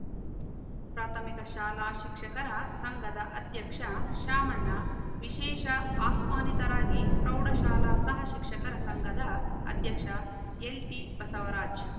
ಪ್ರಾಥಮಿಕಶಾಲಾಶಿಕ್ಷಕರ ಸಂಘದ ಅಧ್ಯಕ್ಷ ಶಾಮಣ್ಣ ವಿಶೇಷ ಆಹ್ವಾನಿತರಾಗಿ ಪ್ರೌಡಶಾಲಾಸಹ ಶಿಕ್ಷಕರ ಸಂಗದ ಅಧ್ಯಕ್ಷ ಎಲ್‌ಟಿಬಸವರಾಜ್‌